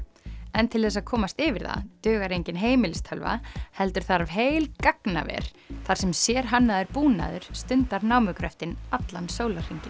en til þess að komast yfir það dugar engin heimilistölva heldur þarf heil gagnaver þar sem sérhannaður búnaður stundar námugröftinn allan sólarhringinn